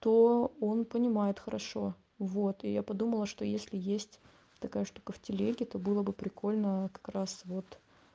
то он понимает хорошо вот и я подумала что если есть такая штука в телеге то было бы прикольно как раз вот